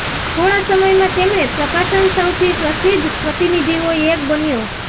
થોડા સમય માં તેમણે પ્રકાશન સૌથી પ્રસિદ્ધ પ્રતિનિધિઓ એક બન્યો